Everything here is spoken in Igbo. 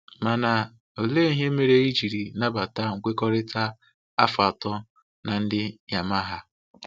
Mana olee ihe mere i jiri nabata nkwekọrịta afọ atọ na ndị Yamaha?